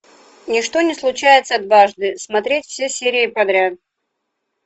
ничто не случается дважды смотреть все серии подряд